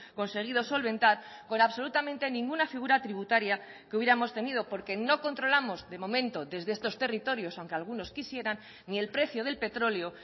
conseguido solventar con absolutamente ninguna figura tributaria que hubiéramos tenido porque no controlamos de momento desde estos territorios aunque algunos quisieran ni el precio del petróleo